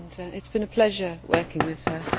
It has been a pleasure working with her.